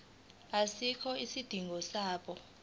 asikho isidingo sokuba